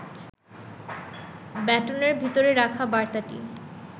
ব্যাটনের ভেতরে রাখা বার্তাটি